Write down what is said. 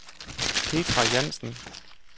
Petra Jansen